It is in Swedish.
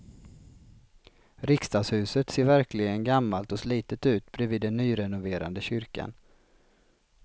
Riksdagshuset ser verkligen gammalt och slitet ut bredvid den nyrenoverade kyrkan.